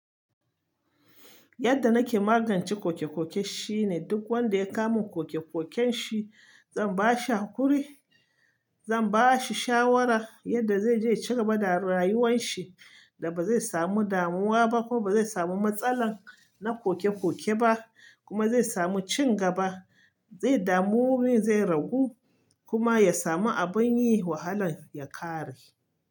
Yadda nake magance kokekoke shine duk wanda ya kama kokekoken shi, zan ba shi hakuri, zan ba shi shawara yadda zai je cigaba da rayuwan shi, da ba zai samu damuwa ba kuma ba zai samu matsala na kokekoke ba, kuma zai samu cigaba. Zai damu, zai ragu kuma ya samu abin yi wahalan ya kare.